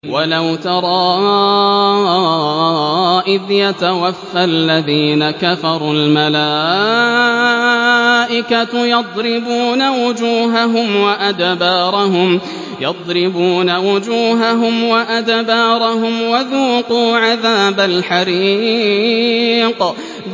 وَلَوْ تَرَىٰ إِذْ يَتَوَفَّى الَّذِينَ كَفَرُوا ۙ الْمَلَائِكَةُ يَضْرِبُونَ وُجُوهَهُمْ وَأَدْبَارَهُمْ وَذُوقُوا عَذَابَ الْحَرِيقِ